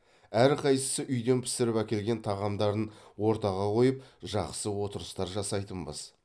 әрқайсысы үйден пісіріп әкелген тағамдарын ортаға қойып жақсы отырыстар жасайтынбыз